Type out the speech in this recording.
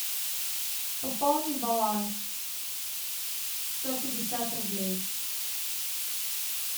пополни баланс сто пятьдесят рублей